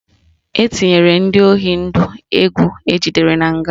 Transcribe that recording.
Etinyere ndị oyi ndụ egwu ejidere na nga